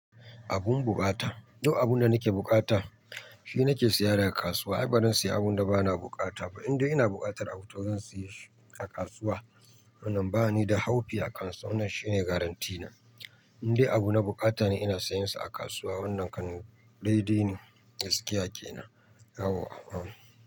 Abun bukata. Duk abun da nake bukata shi nake siya daga kasuwa. Ai bazan siya abun da bana bukata ba, indai ina bukatar abu to zan siya shi a kasuwa. Wannan ba ni da haufi a kansa. Wannan shi ne garantina. Indai abu na bukata ne ina sayinsa a kasuwa. Wannan kan dai dai ne gaskiya kenan.